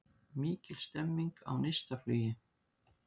Mikil stemming á Neistaflugi